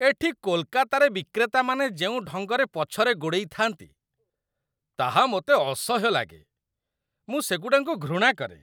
ଏଠି କୋଲକାତାରେ ବିକ୍ରେତାମାନେ ଯେଉଁ ଢଙ୍ଗରେ ପଛରେ ଗୋଡ଼େଇଥାନ୍ତି, ତାହା ମୋତେ ଅସହ୍ୟ ଲାଗେ। ମୁଁ ସେଗୁଡ଼ାଙ୍କୁ ଘୃଣା କରେ।